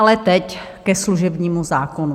Ale teď ke služebnímu zákonu.